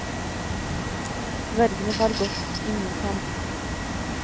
Dvergene tar godt i mot ham.